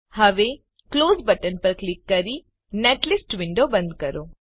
હવે close button પર click કરીને નેટલિસ્ટ વિન્ડો બંધ કરો